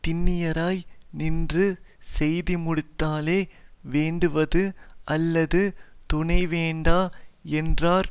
திண்ணியராய் நின்று செய்துமுடித்தலே வேண்டுவது அல்லது துணை வேண்டா என்றார்